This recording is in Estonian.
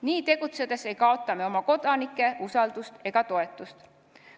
Nii tegutsedes ei kaota me oma kodanike usaldust ega toetust.